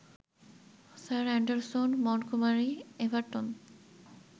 sir Anderson Montgomery Everton